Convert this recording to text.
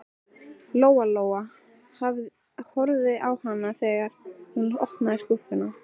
Lóa Lóa horfði á hana þegar hún opnaði skúffuna.